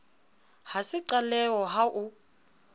ha se qaleho ha o